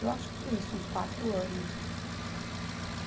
Eu acho que foi isso, uns quatro anos.